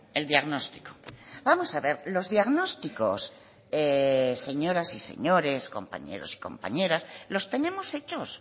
el diagnóstico vamos a ver los diagnósticos señoras y señores compañeros y compañeras los tenemos hechos